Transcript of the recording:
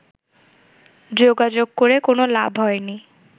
যোগাযোগ করে কোনো লাভ হয়নি